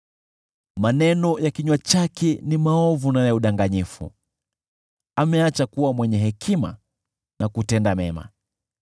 Maneno ya kinywa chake ni maovu na ya udanganyifu, ameacha kuwa mwenye hekima na kutenda mema.